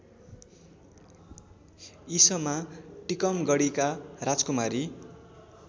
ईसमा टीकमगढकी राजकुमारी